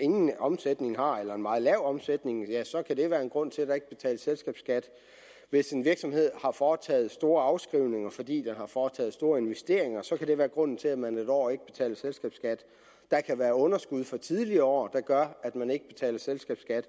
ingen omsætning har eller har en meget lav omsætning ja så kan det være en grund til at der ikke betales selskabsskat hvis en virksomhed har foretaget store afskrivninger fordi den har foretaget store investeringer så kan det være grunden til at man et år ikke betaler selskabsskat der kan være underskud fra tidligere år der gør at man ikke betaler selskabsskat